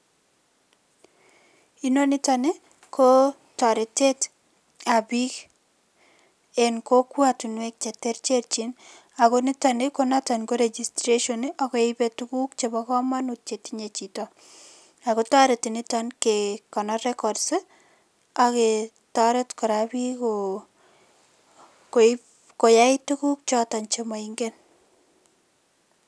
Inoniton ko toretetab biik en kokwatinwek che terterchin ako nitokni ko registration akeip tuguuk chebo kamanut chetiye chito ako toreti nito kekonor records ake toret kora biik koip koyai tuguuk choto che maingen.